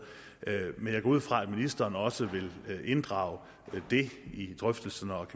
men jeg går ud fra at ministeren også vil inddrage det i drøftelserne og